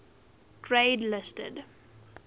grade listed